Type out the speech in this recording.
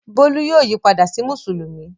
Bólú yóò yí padà sí Mùsùlùmí.